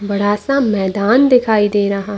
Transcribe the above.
बड़ा सा मैदान दिखाई दे रहा --